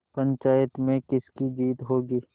पंचायत में किसकी जीत होगी